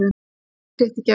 Fékk sitt í gegn.